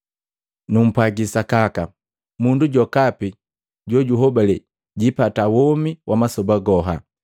Numpwaji sakaka, mundu jokapi jojuhobalee jiipata womi wa masoba goha.